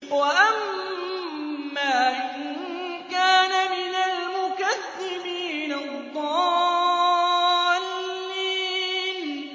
وَأَمَّا إِن كَانَ مِنَ الْمُكَذِّبِينَ الضَّالِّينَ